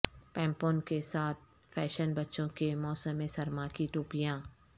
پمپون کے ساتھ فیشن بچوں کے موسم سرما کی ٹوپیاں